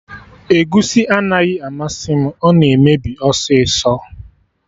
Egusi anaghị amasị m, ọ na-emebi ọsịsọ